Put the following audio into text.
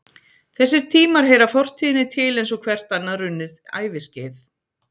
Þessir tímar heyra fortíðinni til eins og hvert annað runnið æviskeið.